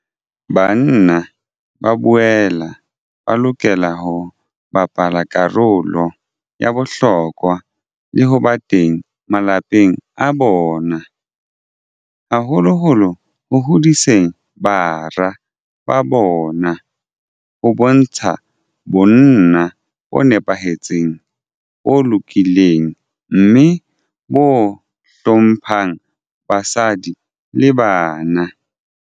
Banna ba boela ba lokela ho bapala karolo ya bohlokwa le ho ba teng malapeng a bona, haholoholo ho hodiseng bara ba bona ho bontsha bonna bo nepahetseng, bo lokileng mme bo hlo mphang basadi le bana.